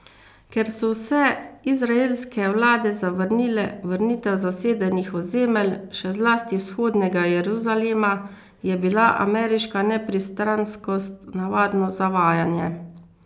Ker so vse izraelske vlade zavrnile vrnitev zasedenih ozemelj, še zlasti Vzhodnega Jeruzalema, je bila ameriška nepristranskost navadno zavajanje.